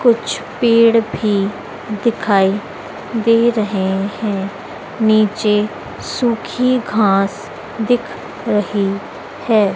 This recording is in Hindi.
कुछ पेड़ भी दिखाई दे रहे हैं नीचे सूखी घास दिख रही है।